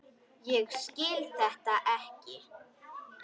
Ég skil þetta ekki.